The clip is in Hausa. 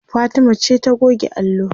Fatima ce ta goge allo